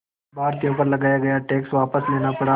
भारतीयों पर लगाया गया टैक्स वापस लेना पड़ा